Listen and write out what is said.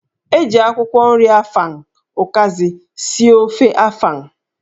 E ji akwụkwọ nri afang (ụkazị) sie ofe afang.